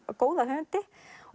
góða höfundi